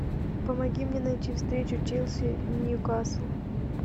помоги мне найти встречу челси ньюкасл